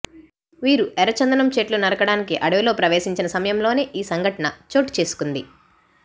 వీరు ఎర్రచందనం చెట్లు నరకడానికి అడవిలో ప్రవేశించిన సమయంలోనే ఈసంఘటన చోటుచేసుకుంది